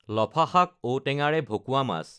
লফা শাক, ঔটেঙাৰে ভকুৱা মাছ